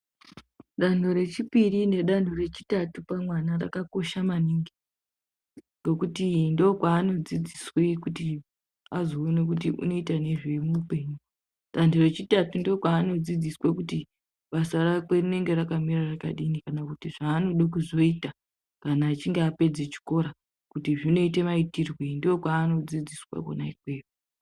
Danho rechipiri nedanho rechitatu pamwana rakakosha maningi nekuti ndokwaanodzidziswe kuti azoone kuti unoita nezvei muupenyu. Danho rechitatu ndokwaanodzidziswe kuti basa rakwe rinenge rakamira rakadini kana kuti zvaanodo kuzoita, kana achinge apedza chikora kuti zvinoite maitirwei ndokwaanodzidziswe kona ikweyo.